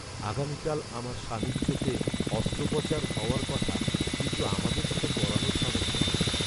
আগামীকাল আমার স্বামীর চোখে অস্ত্রোপচার হওয়ার কথা কিন্তু আমাদের সেটা করানোর সামর্থ্য নেই।